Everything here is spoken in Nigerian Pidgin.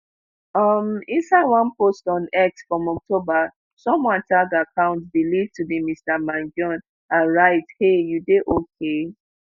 um inside one post on x from october someone tag account believed to be mr mangione and write hey you dey ok